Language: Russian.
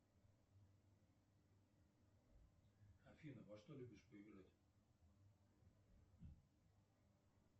афина во что любишь поиграть